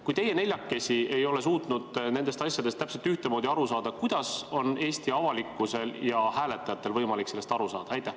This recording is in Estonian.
Kui teie neljakesi ei ole suutnud nendest asjadest täpselt ühtemoodi aru saada, kuidas on Eesti avalikkusel ja hääletajatel võimalik sellest asjast aru saada?